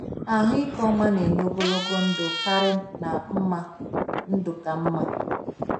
Ahụike ọma na-enye ogologo ndụ karị na mma ndụ ka mma.